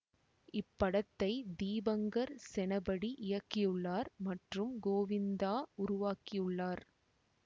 இப்படத்தை தீபங்கர் செனபடி இயக்கியுள்ளார் மற்றும் கோவிந்தா உருவாக்கி உள்ளார்